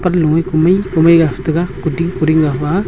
panlo e kumai kumai gastaiga kuding kuding ngapha a.